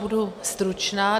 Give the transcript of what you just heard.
Budu stručná.